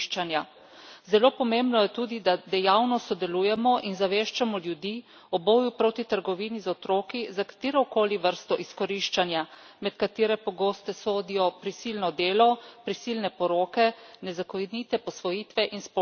Zelo pomembno je tudi, da dejavno sodelujemo in ozaveščamo ljudi o boju proti trgovini z otroki, za katero koli vrsto izkoriščanja, med katere pogosto sodijo prisilno delo, prisilne poroke, nezakonite posvojitve in spolna zloraba.